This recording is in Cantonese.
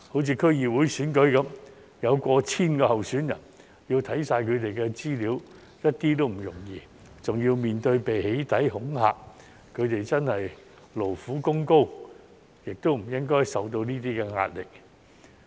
以區議會選舉為例，有過千名候選人，要看完他們的資料一點也不容易，還要面對被"起底"、恐嚇，他們真的勞苦功高，亦不應該受到這些壓力。